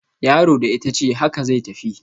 Yaro da itace, haka zai tafi